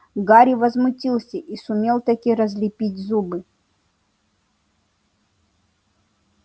гарри возмутился и сумел-таки разлепить зубы